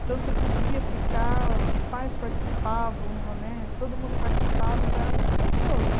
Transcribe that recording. Então, você podia ficar, os pais participavam né, todo mundo participava, então era muito gostoso.